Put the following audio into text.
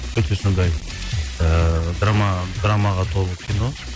өте сондай ыыы драмаға толы кино